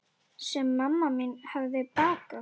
Sem mamma mín hefði bakað.